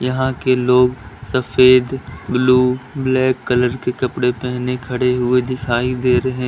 यहां के लोग सफेद ब्लू ब्लैक कलर के कपड़े पहने खड़े दिखाई दे रहे --